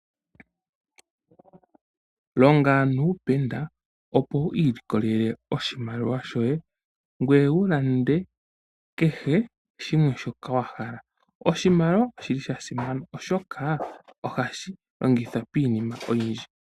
Longa nuupenda opo wiilikolele oshimaliwa shoye , ngoye wulande kehe shimwe shoka wahala . Oshimaliwa oshili shasimana oshoka ohashi longithwa piinima oyindji.